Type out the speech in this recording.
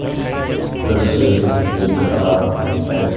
दृश्य दिख रहा है।